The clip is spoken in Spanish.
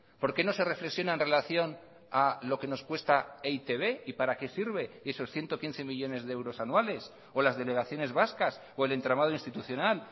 por qué no se reflexiona en relación a lo que nos cuesta e i te be y para qué sirven esos ciento quince millónes de euros anuales o las delegaciones vascas o el entramado institucional